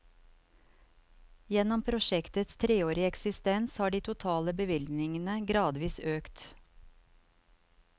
Gjennom prosjektets treårige eksistens har de totale bevilgningen gradvis økt.